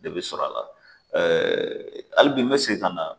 De bɛ sɔrɔ a la hali bi n mɛ segin ka na.